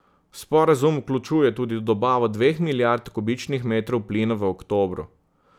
Sporazum vključuje tudi dobavo dveh milijard kubičnih metrov plina v oktobru.